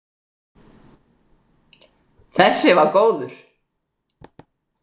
Þessi var góður!